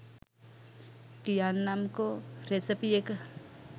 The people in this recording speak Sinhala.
කියන්නම්කො රෙසපි එක